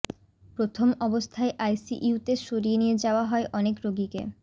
প্রথম অবস্থায় আইসিইউ তে সরিয়ে নিয়ে যাওয়া হয় অনেক রোগীকে